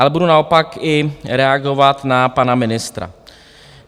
Ale budu naopak i reagovat na pana ministra.